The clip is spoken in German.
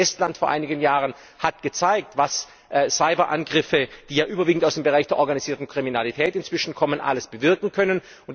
Das Beispiel Estland vor einigen Jahren hat gezeigt, was Cyberangriffe, die ja inzwischen überwiegend aus dem Bereich der organisierten Kriminalität kommen, alles bewirken können.